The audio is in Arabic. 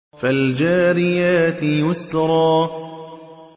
فَالْجَارِيَاتِ يُسْرًا